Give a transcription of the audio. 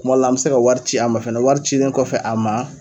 Kuma la an be se ka wari ci a ma fɛnɛ wari cilen kɔfɛ a ma